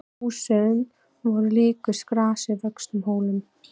Húsin voru líkust grasi vöxnum hólum.